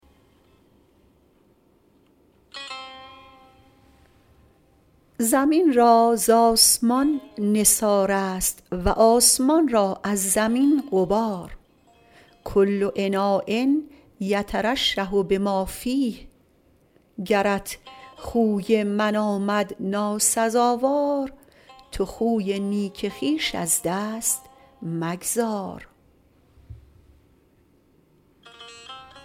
زمین را ز آسمان نثار است و آسمان را از زمین غبار کل اناء یترشح بما فیه گرت خوی من آمد ناسزاوار تو خوی نیک خویش از دست مگذار